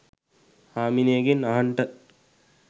හාමිනේගෙන් අහන්ට